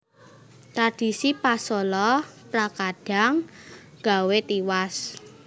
Tradhisi pasola trakadhang gawé tiwas